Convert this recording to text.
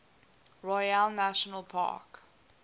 royale national park